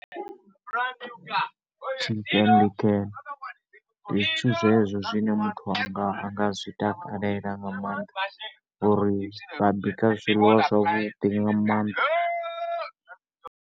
tshi ndi zwithu zwezwo zwine muthu a nga, a nga zwi takalela nga maanḓa ngori vha bika zwiḽiwa zwavhudi nga maanḓa.